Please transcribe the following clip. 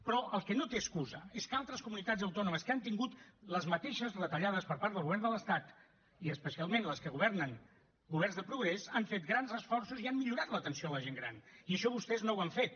però el que no té excusa és que altres comunitats autònomes que han tingut les mateixes retallades per part del govern de l’estat i especialment les que governen governs de progrés han fet grans esforços i han millorat l’atenció a la gent gran i això vostès no ho han fet